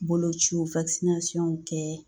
Bolociw kɛ